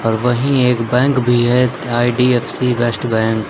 और वही एक बैंक भी है आई_डी_एफ_सी फर्स्ट बैंक ।